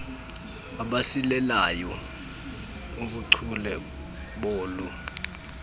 abasilelayo kubuchule bolu